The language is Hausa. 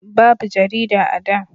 babu jarida a da